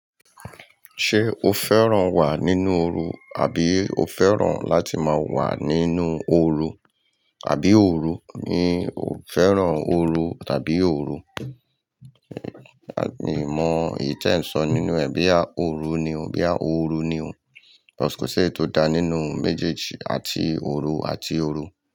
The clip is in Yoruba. Ṣé o fẹ́ràn wà nínú ooru àbí o fẹ́ràn láti máa wà nínú ooru àbí òru? Mi ò fẹ́ràn ooru tàbí òru. Mi mọ eyi teǹ sọ nínú ẹ̀. Boya òru ni ọ, boya ooru ni ọ. Cus ko si eyii tó dá nínú méjèèjì àti òru àti ooru.